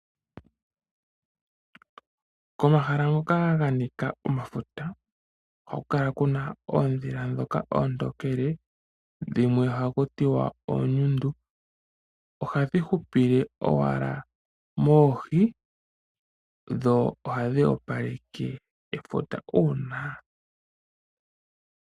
Komahala hoka kwa nika omafuta, ohaku kala kuna oodhila dhoka oontokele, dhimwe oha ku tiwa oonyundu. Ohadhi hupile owala moohi dho ohadhi opaleke efuta.